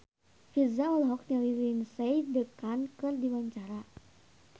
Virzha olohok ningali Lindsay Ducan keur diwawancara